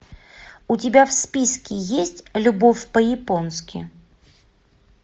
у тебя в списке есть любовь по японски